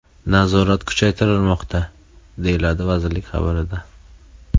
Nazorat kuchaytirilmoqda”, – deyiladi vazirlik xabarida .